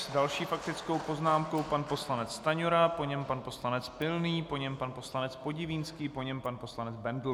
S další faktickou poznámkou pan poslanec Stanjura, po něm pan poslanec Pilný, po něm pan poslanec Podivínský, po něm pan poslanec Bendl.